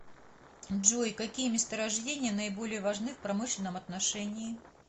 джой какие месторождения наиболее важны в промышленном отношении